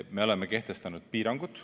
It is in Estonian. Me oleme kehtestanud piirangud.